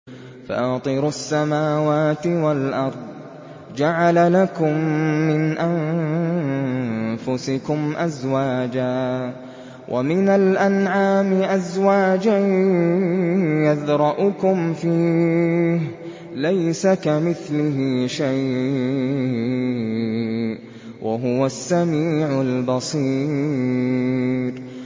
فَاطِرُ السَّمَاوَاتِ وَالْأَرْضِ ۚ جَعَلَ لَكُم مِّنْ أَنفُسِكُمْ أَزْوَاجًا وَمِنَ الْأَنْعَامِ أَزْوَاجًا ۖ يَذْرَؤُكُمْ فِيهِ ۚ لَيْسَ كَمِثْلِهِ شَيْءٌ ۖ وَهُوَ السَّمِيعُ الْبَصِيرُ